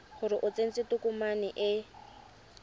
gore o tsentse tokomane e